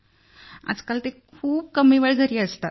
आजकाल ते खूप कमी वेळ घरी असतात